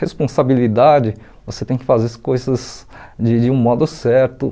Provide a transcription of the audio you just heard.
Responsabilidade, você tem que fazer as coisas de de um modo certo.